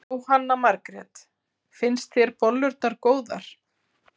Jóhanna Margrét: Finnst þér bollurnar góðar?